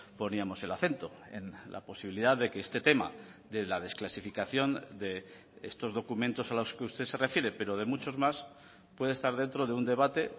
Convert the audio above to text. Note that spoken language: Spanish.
poníamos el acento en la posibilidad de que este tema de la desclasificación de estos documentos a los que usted se refiere pero de muchos más puede estar dentro de un debate